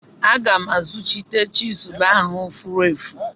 Aga m azuchite chizụl ahụ furu efu.